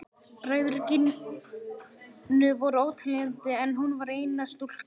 Bræður Gínu voru óteljandi en hún var eina stúlkan.